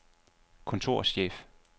kontorchef